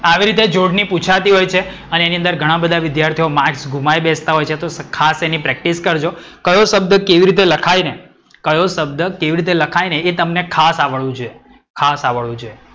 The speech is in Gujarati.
આવી રીતે જોડણી પૂછાતી હોય છે અને એની અંદર ઘણા બધા વિધાર્થીઓ marks ગુમાવી બેસતા હોય છે તો ખાસ એની practice કરજો. કયો શબ્દ કેવી રીતે લખાય ને એ તમને ખાસ આવડવું જોઈએ. ખાસ આવડવું જોઈએ.